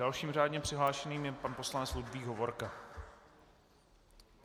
Dalším řádně přihlášeným je pan poslanec Ludvík Hovorka.